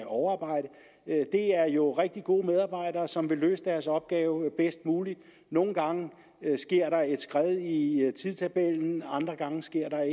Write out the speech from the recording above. overarbejde det er jo rigtig gode medarbejdere som vil løse deres opgave bedst muligt nogle gange sker der et skred i tidstabellen andre gange sker der